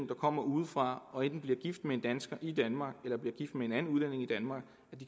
der kommer udefra og enten bliver gift med en dansker i danmark eller bliver gift med en anden udlænding i danmark